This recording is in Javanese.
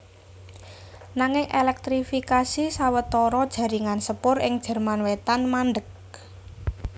Nanging èlèktrifikasi sawetara jaringan sepur ing Jerman Wétan mandheg